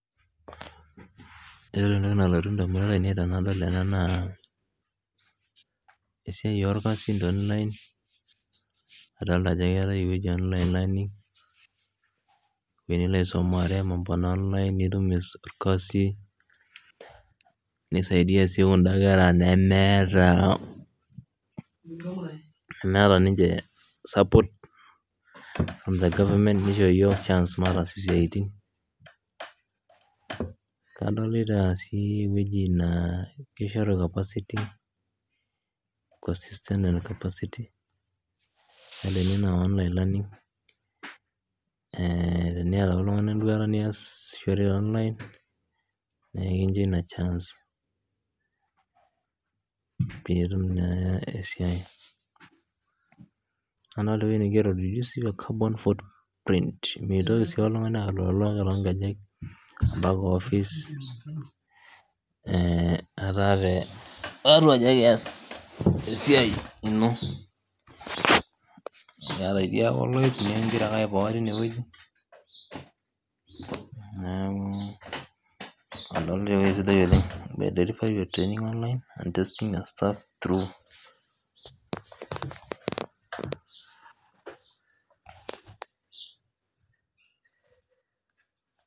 Ore entoki nalotu indamunot ainei tenadol ena naa esiai olkasin te online adolita ajo keatae eweji e online learning nilo aisumare mambo na online nitum ilkasii neisaidia sii kunda kera nemeeta ninche support in the government neicho yook ichance mataasa siatin, kadolita sii eweji naa keisharu capacity enaa ninyee aa online learning capacity teneeta oltungani enduata niasishore te online naa ekincho ina chance piitum naa esiai, adolita entoki naigero sii carbon photo print meitoki sii oltungani aloolo too nkejek mpaka ofis etaa teatu aji ake eas esiaai ino aaitii ake agira aipoa teine weji adolita entoki sidai oleng deliver your training online and testing a stuff through